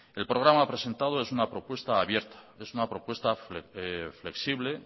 el programa presentado es una propuesta abierta es una propuesta flexible